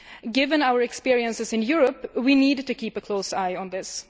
Given our experiences in Europe, we need to keep a close eye on this.